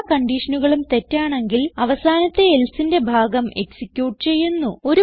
എല്ലാ കൺഡിഷനുകളും തെറ്റാണെങ്കിൽ അവസാനത്തെ Elseന്റെ ഭാഗം എക്സിക്യൂട്ട് ചെയ്യുന്നു